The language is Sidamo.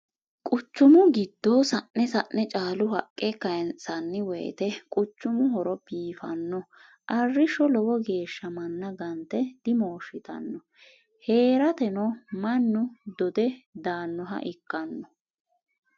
Qucumu giddo sa'ne sa'ne caalu haqqe kayinsanni woyte quchumu horo biifano arrisho lowo geeshsha manna gante dimoshittano heerateno mannu dodhe daanoha ikkano.